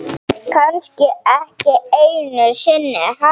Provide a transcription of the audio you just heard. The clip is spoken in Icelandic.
Kannski ekki einu sinni hann.